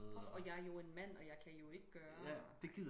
Og jeg jo en mand og jeg kan jo ikke gøre og ej